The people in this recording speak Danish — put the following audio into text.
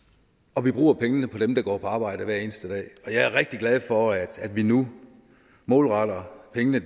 og vi bruger pengene på dem der går på arbejde hver eneste dag jeg er rigtig glad for at vi nu målretter pengene